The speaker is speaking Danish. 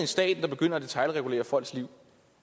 staten begynder at detailregulere folks liv